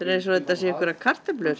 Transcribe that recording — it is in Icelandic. eins og þetta séu einhverjar kartöflur